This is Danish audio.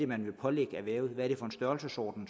man vil pålægge erhvervet hvilken størrelsesorden